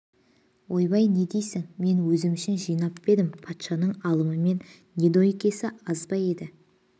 ойбай не дейсің мен өзім үшін жинап па едім патшаның алымы мен недоймкесі аз ба еді